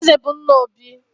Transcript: Eze bụ nna Obi